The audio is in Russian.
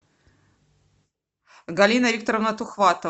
галина викторовна тухватова